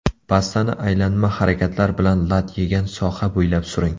Pastani aylanma harakatlar bilan lat yegan soha bo‘ylab suring.